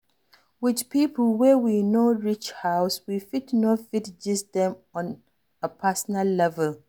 With pipo wey we no know reach house, we fit no fit gist with dem on a personal level